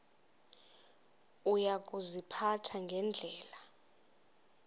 uya kuziphatha ngendlela